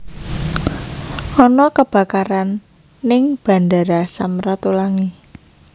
Ono kebakaran ning Bandara Sam Ratulangi